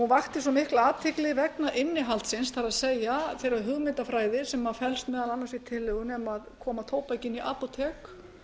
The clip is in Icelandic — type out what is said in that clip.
vakti svo mikla athygli vegna innihaldsins það er þeirrar hugmyndafræði sem felst meðal annars í tillögunni um að koma tóbaki inn í apótek